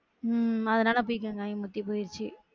உம் அதுனால பீக்கங்காவும் முத்தி போயிருச்சி